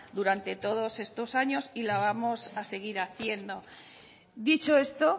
durante todos estos años y la vamos a seguir haciendo dicho esto